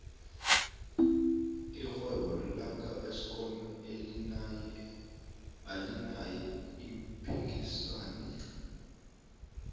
irhwebo laka eskom alinaye umphikisani